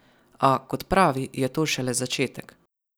A, kot pravi, je to šele začetek.